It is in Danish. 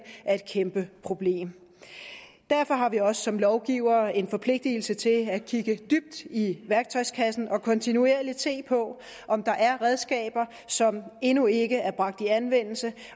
er et kæmpe problem derfor har vi også som lovgivere en forpligtelse til at kigge dybt i værktøjskassen og kontinuerligt se på om der er redskaber som endnu ikke er bragt i anvendelse